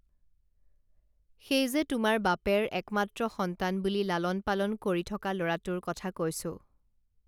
সেই যে তোমাৰ বাপেৰ একমাএ সন্তান বুলি লালন পালন কৰি থকা লৰাটোৰ কথা কৈছো